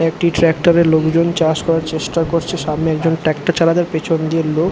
একটি ট্রাক্টর এ লোকজন চাষ করার চেষ্টা করছে সামনে একজন ট্রাক্টর চালাতে পেছন দিয়ে লোক।